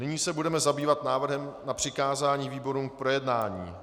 Nyní se budeme zabývat návrhem na přikázání výborům k projednání.